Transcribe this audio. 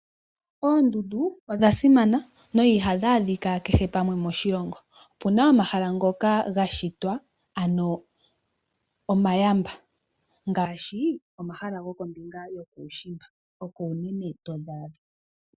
Oondundu odha simana na ihadhi adhika kehe pamwe moshilongo. Opu na omahala ngoka ga shitwa omayamba ngaashi omahala gokombinga yokuushimba hoka haku adhika oondundu.